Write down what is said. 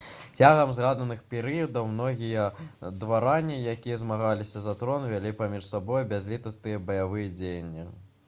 цягам згаданых перыядаў многія дваране якія змагаліся за трон вялі паміж сабой бязлітасныя баявыя дзеянні